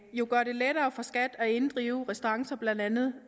gøre det lettere for skat at inddrive restancer blandt andet